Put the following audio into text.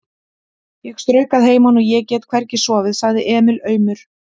Ég strauk að heiman og ég get hvergi sofið, sagði Emil aumur.